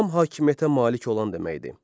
Tam hakimiyyətə malik olan deməkdir.